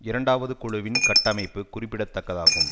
இரண்டாவது குழுவின் கட்டமைப்பு குறிப்பிடத்தக்கதாகும்